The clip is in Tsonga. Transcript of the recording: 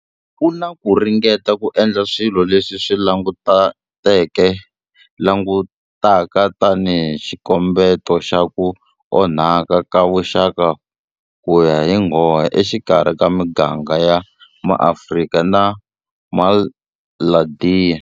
Ku na ku ringeta ku endla swilo leswi swi langutaka tanihi xikombeto xa ku onhaka ka vuxaka ku ya hi nghohe exikarhi ka miganga ya MaAfrika na MaIndiya.